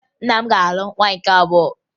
Nna m ga-alụ nwaanyị nke abụọ